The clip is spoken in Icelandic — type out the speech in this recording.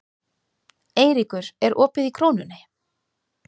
Eyríkur, er opið í Krónunni?